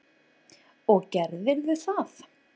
Og gerðirðu það?